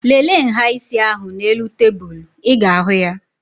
Lele nhá isi ahụ n'elu tebụl. Ị ga-ahụ ya